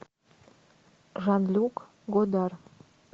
жан люк годар